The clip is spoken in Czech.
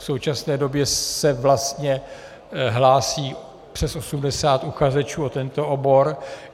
V současné době se vlastně hlásí přes 80 uchazečů o tento obor.